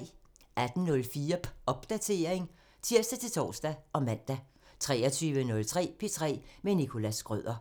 18:04: Popdatering (tir-tor og man) 23:03: P3 med Nicholas Schrøder